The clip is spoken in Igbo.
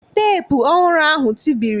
Teepu ọhụrụ ahụ tibiri